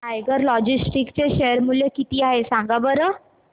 tiger Logistics चे share मूल्य किती आहे सांगा बरं